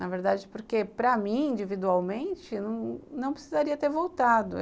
Na verdade, porque para mim, individualmente, não precisaria ter voltado.